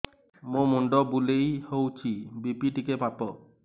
ମୋ ମୁଣ୍ଡ ବୁଲେଇ ହଉଚି ବି.ପି ଟିକେ ମାପ